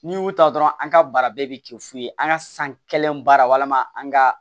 N'i y'u ta dɔrɔn an ka baara bɛɛ bɛ kɛ fu ye an ka san kelen baara walima an ka